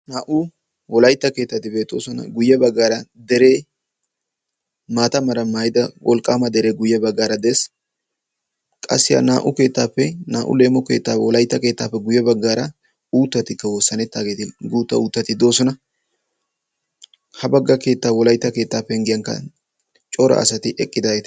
Naa"u wolaytta keettati beettoosona. guye baggaara deree maata meraa maayida wolqqaama deree guye baggaara dees. qassi ha naa"u keettaappe naa"u leemo keettaappe guye baggaara uuttatikka wosanettidaageti guutta uuttati doosona. ha bagga keettaa wolaytta keettaa penggiyankka cora asati eqqidaageti